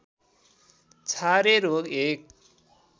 छारे रोग एक